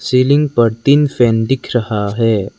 Ceiling पर तीन fan दिख रहा है।